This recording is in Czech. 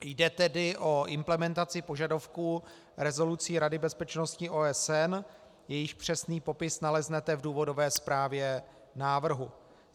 Jde tedy o implementaci požadavků rezolucí Rady bezpečnosti OSN, jejichž přesný popis naleznete v důvodové zprávě návrhu.